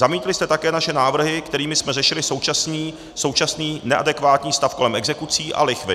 Zamítli jste také naše návrhy, kterými jsme řešili současný neadekvátní stav kolem exekucí a lichvy.